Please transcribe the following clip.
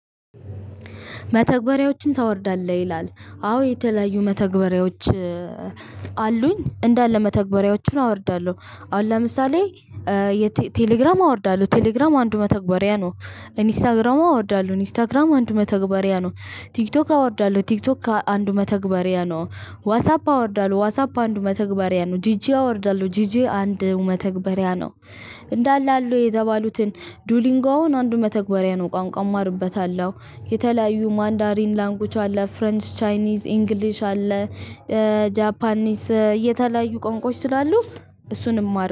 መተግበሪያዎችን ታወርዳለህ ይላል? አዎ የተለያዩ መተግበሪያዎች አሉኝ እንዳለ መተግበሪያዎቹን አወርዳለሁ አሁን ለምሳሌ ቴሌግራም አወርዳለሁ ቴሌግራም አንዱ መተግበሪያ ነው። ኢንስታግራም አወርዳለሁ ኢንስታግራም አንድ መተግበሪያ ነው። ቲክቶክ አወርዳለሁ ቲክቶክ አንድ መተግበሪያ ነው። ዋትሳፕ አወርዳለሁ ዋትሳፕ አንድ መተግበሪያ ነው ጂጄ አወርዳለሁ ጂጄ አንድ መተግበሪያ ነው። እንዳለ አሉ የተባሉትን ዶብሊንጎ አንዱ መተግበሪያ ነው ቋንቋ እማርበታለሁ። የተለያዩ ማንዳሪን ላንጉጅ አለ ፍሬንች ቻይኒዝ ኢንግሊሽ አለ። ጃፓኒስ የተለያዩ ቋንቋዎች ስላሉ እሱን እማርበታለሁ